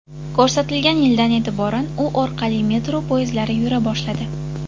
Ko‘rsatilgan yildan e’tiboran u orqali metro poyezdlari yura boshladi.